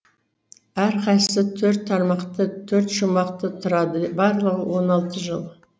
әрқайсысы төрт тармақты төрт шумақты тұрады барлығы он алты жол